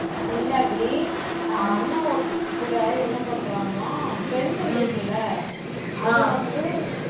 இல்ல அபி அஹ் அண்ணா ஒருத்தங்க கூட என்ன பண்றாங்களாம் pencil இருக்குல்ல அது வந்து